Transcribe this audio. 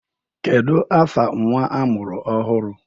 Kedu afa nnwa amụrụ ọhụrụ?